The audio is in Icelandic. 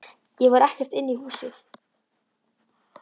Ég fór ekkert inn í húsið.